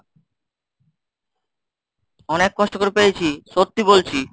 অনেক কষ্ট করে পেয়েছি, সত্যি বলছি।